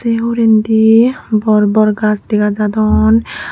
ye hurendy bor bor gaj dega jadon.